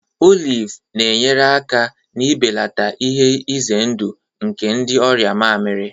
Olive na-enyere aka n'ibelata ihe ize ndụ nke ndị ọrịa mamịrị